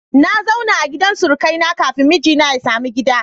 Na zauna a gidan surukai na kafin mijina ya samu gida